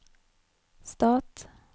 stat